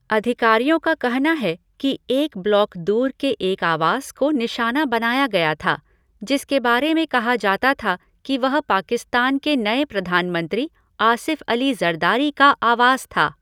अधिकारियों का कहना है कि एक ब्लॉक दूर के एक आवास को निशाना बनाया गया था, जिसके बारे में कहा जाता था कि वह पाकिस्तान के नए प्रधानमंत्री आसिफ़ अली ज़रदारी का आवास था।